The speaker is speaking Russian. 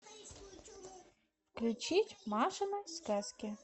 включить машины сказки